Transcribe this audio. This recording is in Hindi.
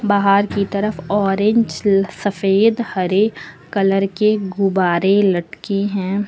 बाहर की तरफ ऑरेंज सफेद हरे कलर के गुब्बारे लटके हैं।